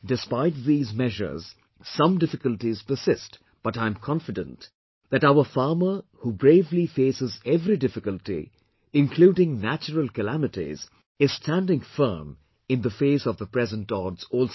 Despite these measures, some difficulties persist but I am confident that our farmer who bravely faces every difficulty, including natural calamities, is standing firm in the face of present odds also